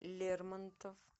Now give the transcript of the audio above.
лермонтов